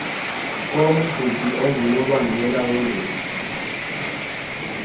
komqhubi ongunobangela wengozi